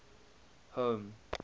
home